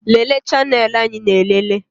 Lelee chanelụ anyị na-elele